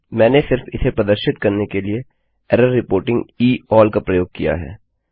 मैंने सिर्फ इसे प्रदर्शित करने के लिए एरर रिपोर्टिंग ई अल्ल का प्रयोग किया है